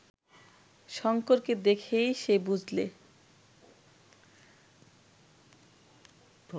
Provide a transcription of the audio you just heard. শঙ্করকে দেখেই সে বুঝলে